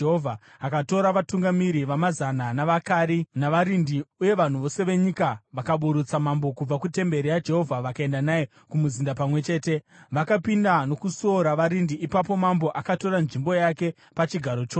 Akatora vatungamiri vamazana, navaKari, navarindi uye vanhu vose venyika, vakaburutsa mambo kubva kutemberi yaJehovha vakaenda naye kumuzinda pamwe chete, vakapinda nokusuo ravarindi. Ipapo mambo akatora nzvimbo yake pachigaro choushe,